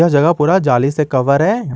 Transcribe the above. जगह पूरा जाली से कवर है।